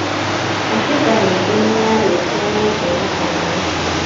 Katiba ningĩ nĩyarĩtie megiĩ makanitha